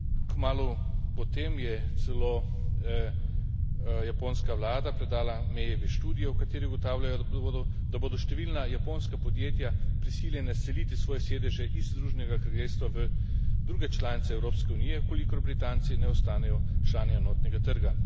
Kmalu potem je celo japonska vlada predala Mayevi študijo, v kateri ugotavljajo, da bodo številna japonska podjetja prisiljena seliti svoje sedeže iz Združenega kraljestva v druge članice Evropske unije, v kolikor Britanci ne ostanejo člani enotnega trga.